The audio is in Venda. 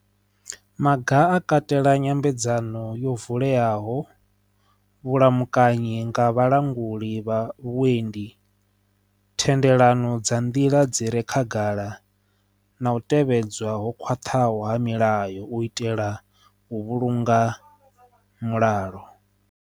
Maga a katela nyambedzano yo vuleaho vhulamukanyi nga vhalanguli vha vhuendi thendelano dza nḓila dzine khagala na u tevhedzwa ho khwaṱhaho ha milayo u itela u vhulunga mulalo.